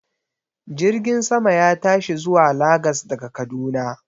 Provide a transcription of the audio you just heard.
Jirgin sama ya tashi zuwa Lagas daga Kaduna